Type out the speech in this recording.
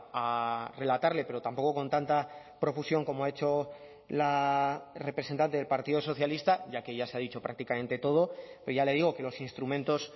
a relatarle pero tampoco con tanta profusión como ha hecho la representante del partido socialista ya que ya se ha dicho prácticamente todo pero ya le digo que los instrumentos